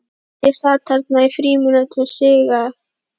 Ég sat þarna í fimmtíu sígar